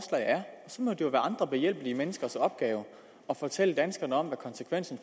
så må det jo være andre behjælpelige menneskers opgave at fortælle danskerne om hvad konsekvensen